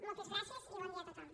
moltes gràcies i bon dia a tothom